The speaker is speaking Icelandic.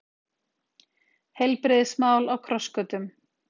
Heilbrigðismál á krossgötum